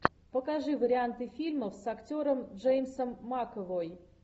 покажи варианты фильмов с актером джеймсом макэвой